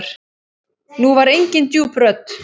Nú var engin djúp rödd.